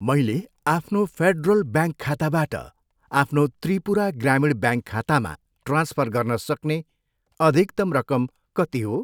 मैले आफ्नो Federal Bank खाताबाट आफ्नो त्रिपुरा ग्रामीण ब्याङ्क खातामा ट्रान्सफर गर्न सक्ने अधिकतम रकम कति हो?